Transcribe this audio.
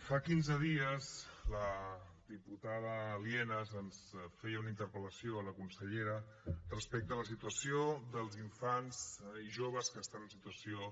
fa quinze dies la diputada lienas ens feia una interpel·lació a la consellera respecte a la situació dels infants i joves que estan en situació